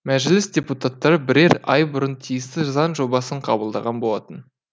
мәжіліс депутаттары бірер ай бұрын тиісті заң жобасын қабылдаған болатын